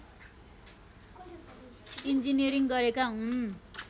engineering गरेका हुन्